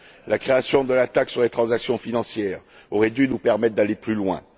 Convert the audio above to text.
La création de la taxe sur les transactions financières aurait dû nous permettre d'aller plus loin.